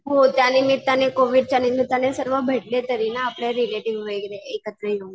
हो त्या निमित्ताने कोविडच्या निमित्ताने सर्व भेटले तरी ना आपले रिलेटिव्ह वगैरे एकत्र येऊन.